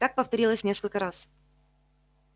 так повторилось несколько раз